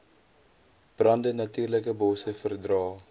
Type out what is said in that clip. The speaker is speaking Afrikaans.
brande natuurlikebosse verdra